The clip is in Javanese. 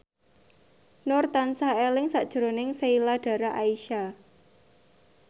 Nur tansah eling sakjroning Sheila Dara Aisha